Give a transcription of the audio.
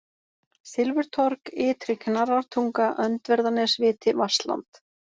Silfurtorg, Ytri-Knarrartunga, Öndverðarnesviti, Vatnsland